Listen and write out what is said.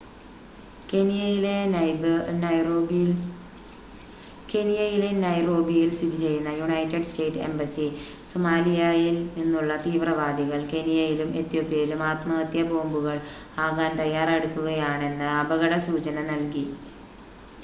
കെനിയയിലെ നൈറോബിയിൽ സ്ഥിതിചെയ്യുന്ന United State embassy സൊമാലിയായിൽ നിന്നുള്ള തീവ്രവാദികൾ കെനിയയിലും ഏതോപ്യയിലും ആത്മഹത്യാബോംബുകൾ ആകാൻ തയ്യാറെടുക്കുകയാണെന്ന അപകടസൂചന നൽകി